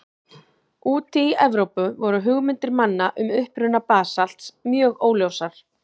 Úti í Evrópu voru hugmyndir manna um uppruna basalts mjög óljósar.